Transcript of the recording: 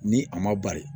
Ni a ma bari